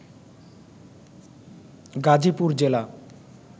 গাজীপুর জেলা